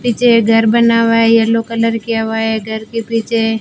पीछे घर बना हुआ येलो कलर किया हुआ है घर के पीछे--